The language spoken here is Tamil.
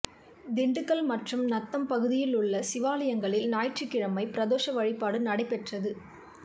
திண்டுக்கல் மற்றும் நத்தம் பகுதியிலுள்ள சிவாலயங்களில் ஞாயிற்றுக்கிழமை பிரதோஷ வழிபாடு நடைபெற்றது